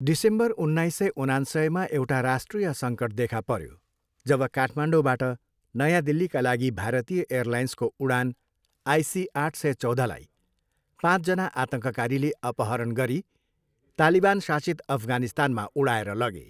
December उन्नाइस सय उनान्सयमा एउटा राष्ट्रिय सङ्कट देखा पर्यो, जब काठमाडौँबाट नयाँ दिल्लीका लागि भारतीय एयरलाइन्सको उडान आइसी आठ सय चौधलाई पाँचजना आतङ्ककारीले अपहरण गरी तालिबान शासित अफगानिस्तानमा उडाएर लगे।